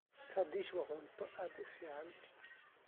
Radish waa cunto aad u fiican.